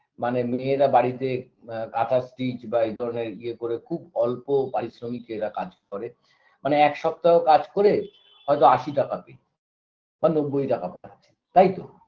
মানে মেয়েরা বাড়িতে ব কাঁথা stitch বা এইধরনের ইয়ে করে খুব অল্প পারিশ্রমিকে এরা কাজ করে মানে এক সপ্তাহ কাজ করে হয়তো আশি টাকা পেল বা নব্বই টাকা পাচ্ছে তাইতো